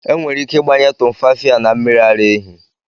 Enwere ike ịgbanye Tumfafiya na mmiri ara ehi.